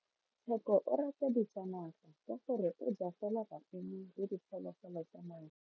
Tsheko o rata ditsanaga ka gore o ja fela maungo le diphologolo tsa naga.